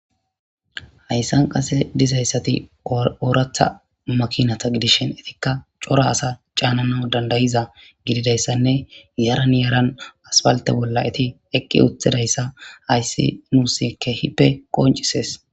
Haysan qasse dizaysati oraththa makinatta gidishshin ettikka corra assa cananaw dand'iza gidizaysanne yaran yaran aspaltte bolla etti eqi utidayssa hayssi nussi ke'ippe qoncisees